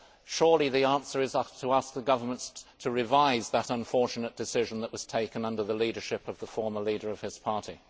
Surely the answer is to ask the governments to revise that unfortunate decision that was taken under the leadership of the former leader of his party.